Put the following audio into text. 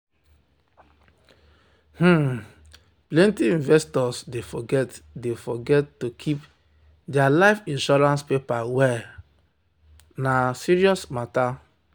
um plenty investors dey forget dey forget say to keep their life insurance paper well um na um serious matter.